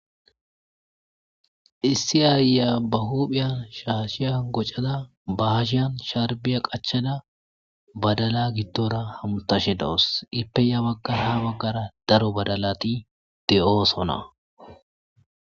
issi aya ba huphiyan shaashiya gocada bahashiyan sharbiya qachada badala giddora hamutashe dawus ipeya ya baggara ha baggara daro badalati de'oosona